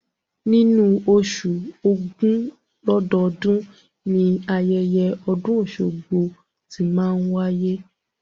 Nínú oṣù ògún lọ́dọọ́dun, ni ayẹyẹ ọdún ọ̀ṣun-oṣogbo tí máa n wáyé